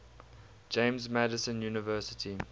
james madison university